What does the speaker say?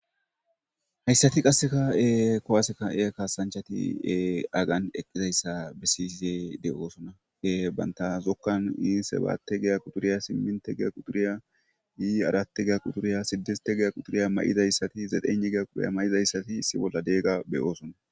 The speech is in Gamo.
Hayssati qassekka kuwase ka'iya kaasanchati hagan eqizayssa besishe de'osona. Bantta zokuwan sebaate giya quxuriya, simminte giya quxuriya , arate giya quxuuriya, sidistte giya quturiya ma'idayssat zetenhe giya quxuriya mayidayssati issi bolla diyaga be'osona.